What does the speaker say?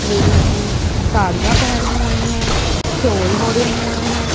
Ladies ने साड़ियां पहनी हुई हैं शॉल ओढ़े हुए हैं।